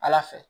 Ala fɛ